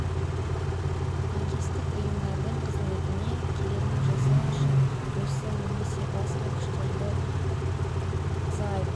беруіміз керек мемлекеттік органдарға теңіздегі нысандарға теңіз кемелеріне қарсы лаңкестік актілерге қарсы тұруға немесе теңіздегі